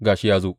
Ga shi, ya zo!